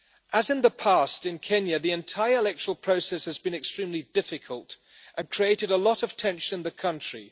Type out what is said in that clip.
As in the past in Kenya, the entire electoral process has been extremely difficult and created a lot of tension in the country.